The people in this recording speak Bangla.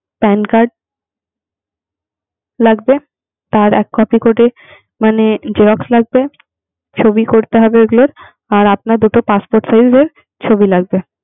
Pan card লাগবে, তার এক copy করে মানে xerox লাগবে। ছবি করতে হবে ওগুলোর। আর আপনার দুটো passport size এর ছবি লাগবে